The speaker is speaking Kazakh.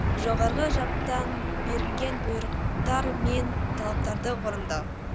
жоғарғы жақтан берілген бұйрықтар мен талаптарды орындау